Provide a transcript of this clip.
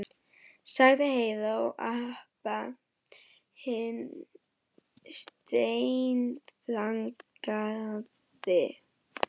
sagði Heiða og Abba hin steinþagnaði.